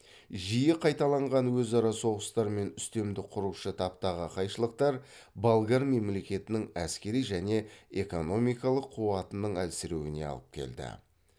жиі қайталанған өзара соғыстар мен үстемдік құрушы таптағы қайшылықтар болгар мемлекетінің әскери және экономикалық қуатының әлсіреуіне алып келді